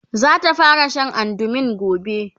zata fara Sha andumin gobe